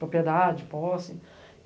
Propriedade, posse.